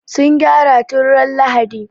Sun gyara tun ran Lahadi.